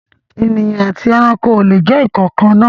Ènìyàn àti ẹranko o le jẹ nkankan naa.